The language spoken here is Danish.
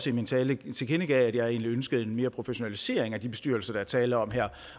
i min tale tilkendegav at jeg egentlig ønskede mere professionalisering af de bestyrelser der er tale om her